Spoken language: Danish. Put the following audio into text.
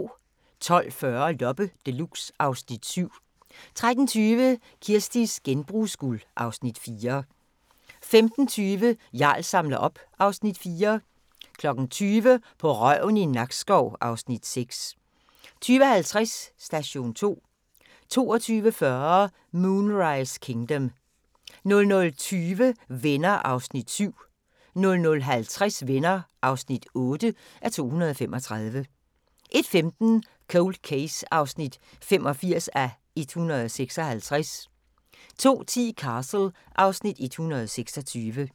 12:40: Loppe Deluxe (Afs. 7) 13:20: Kirsties genbrugsguld (Afs. 4) 15:20: Jarl samler op (Afs. 4) 20:00: På røven i Nakskov (Afs. 6) 20:50: Station 2 22:40: Moonrise Kingdom 00:20: Venner (7:235) 00:50: Venner (8:235) 01:15: Cold Case (85:156) 02:10: Castle (Afs. 126)